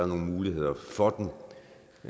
nogle muligheder for